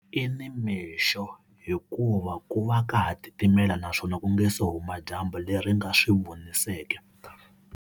I nimixo hikuva ku va ka ha titimela naswona ku nga se huma dyambu leri nga swi vuniseki.